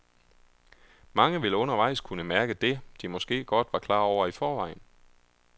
Mange vil undervejs kunne mærke det, de måske godt var klar over i forvejen.